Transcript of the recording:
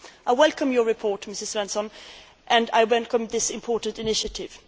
I welcome your report, Mrs Svensson, and I welcome this important initiative